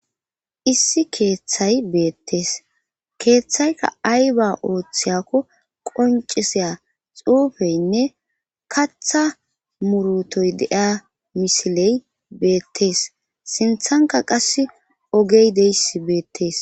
issi keeththay beettees keeththayka ay ba ooththiyakko qonciseya xuufeynne katha murutoy deia misiley beettees sinthanka qass ogey deyss beettees